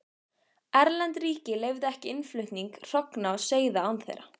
Erlend ríki leyfðu ekki innflutning hrogna og seiða án þeirra.